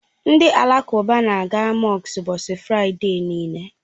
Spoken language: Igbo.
Ndị Alakụba na, a ga mọsk ụbọchị Fraịde niile.